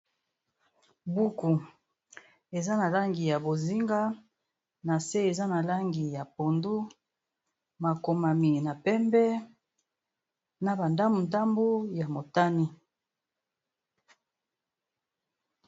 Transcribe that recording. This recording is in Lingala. buku eza na langi ya bozinga na se eza na langi ya pondo makomami na pembe na bandamu ndambu ya motani